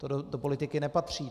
To do politiky nepatří!